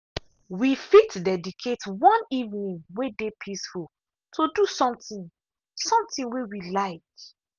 we fit dedicate one evening way dey peaceful to something something way we like.